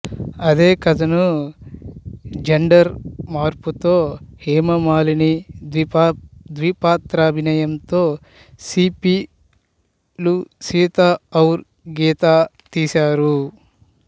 అదేకథను gender మార్పుతో హేమమాలిని ద్విపాత్రాభినయంతో సిప్పీ లు సీత ఔర్ గీత తీశారు